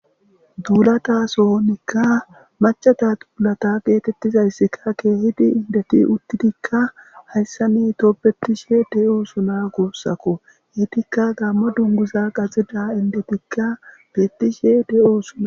duulata sohonikka macata duulata geetettizayssikka keehidi indeti uttidikka hayssa ni toopbetishe de7o suna gussako hiitikka gamma dunguza qaxida indetikka bettishe de7oo suna